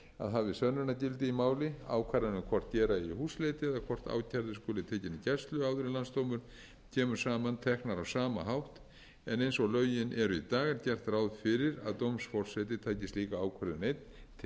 að hafi sönnunargildi í máli ákvarðanir um hvort gera ári húsleit eða hvort ákærði skuli tekinn í gæslu áður en landsdómur kemur saman teknar á sama hátt en eins og lögin eru í dag er gert ráð fyrir að dómsforseti taki slíka ákvörðun einn til